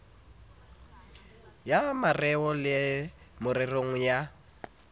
ya mareo le mererong ya